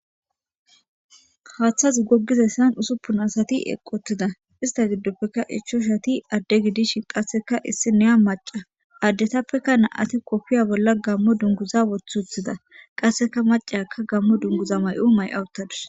haaththazi gogizessan usuppun asati eqqotida ista giddoppekka ichoshati adde gidishin qasseka issi neya maca addetappeka nam'ati kofiya bolla gammo dunguza wothuthida qasseka macayaka gammo dunguza may7u may7awuttadus.